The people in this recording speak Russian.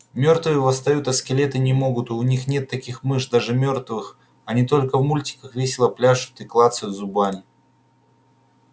мёртвые восстают а скелеты не могут у них нет никаких мышц даже мёртвых они только в мультиках весело пляшут и клацают зубами